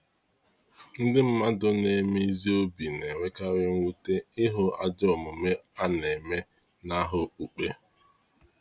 Ndị mmadụ na-eme ezi obi na-enwekarị mwute ịhụ ajọ omume a na-eme n’aha okpukpe.